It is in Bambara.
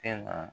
E na